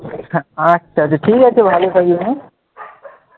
আচ্ছা আচ্ছা ঠিক আছে ভালো থাকিস হ্যাঁ,